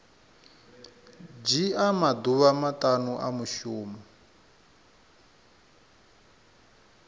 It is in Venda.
dzhia maḓuvha maṱanu a mushumo